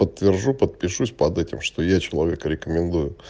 подтвержу подпишусь под этим что я человека рекомендую